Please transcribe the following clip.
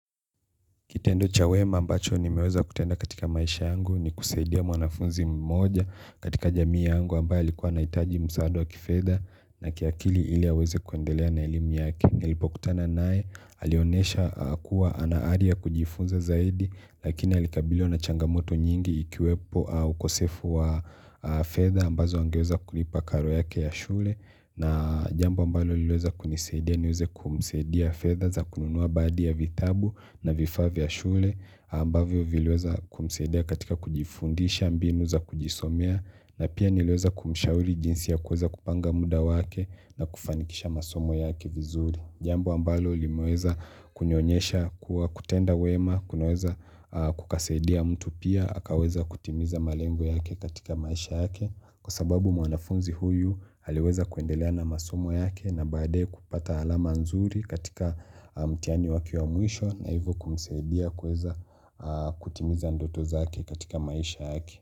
Kitendo cha wema ambacho nimeweza kutenda katika maisha yangu ni kusaidia mwanafunzi mmoja katika jamii yangu ambayo likuwa naitaji msaada wa kifeda na kiakili ili aweze kuendelea na elimu yake. Nilipokutana nae alionesha kuwa anaaria kujifunza zaidi lakini alikabiliwa na changamoto nyingi ikiwepo ukosefu wa fedha ambazo angeweza kulipa karo yake ya shule na jambo ambalo liweza kunisedia niweze kumisedia fedha za kununuwa baadhi vitabu na vifaa vya shule ambavyo vileweza kumsadia katika kujifundisha mbinu za kujisomea na pia niliweza kumishauri jinsi ya kuweza kupanga muda wake na kufanikisha masomo yake vizuri jambo ambalo limueza kunionyesha kuwa kutenda wema kunaweza kukaseidia mtu pia Hakaweza kutimiza malengo yake katika maisha yake kwa sababu mwanafunzi huyu aliweza kuendelea na masomo yake na baade kupata alama nzuri katika mtihani wake wa mwisho na hivyo kumsaidia kuweza kutimiza ndoto zake katika maisha yake.